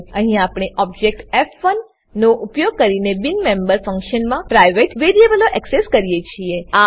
અહીં આપણે ઓબજેક્ટ ફ1 નો ઉપયોગ કરીને બિન મેમ્બર ફંક્શનમાં પ્રાઇવેટ વેરીએબલો એક્સેસ કરીએ છીએ